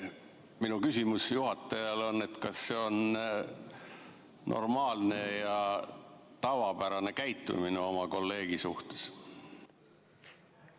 Minu küsimus juhatajale: kas see on normaalne ja tavapärane käitumine oma kolleegi suhtes?